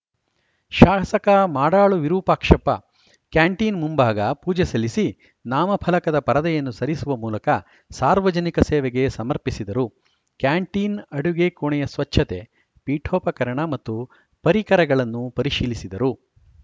ಶಾಸಕ ಮಾಡಾಳು ವಿರೂಪಾಕ್ಷಪ್ಪ ಕ್ಯಾಂಟೀನ್‌ ಮುಂಭಾಗ ಪೂಜೆ ಸಲ್ಲಿಸಿ ನಾಮಫಲಕದ ಪರದೆಯನ್ನು ಸರಿಸುವ ಮೂಲಕ ಸಾರ್ವಜನಿಕ ಸೇವೆಗೆ ಸಮರ್ಪಿಸಿದರು ಕ್ಯಾಂಟೀನ್‌ ಅಡುಗೆ ಕೋಣೆಯ ಸ್ವಚ್ಚತೆ ಪೀಠೋಪಕರಣ ಮತ್ತು ಪರಿಕರಗಳನ್ನು ಪರಿಶೀಲಿಸಿದರು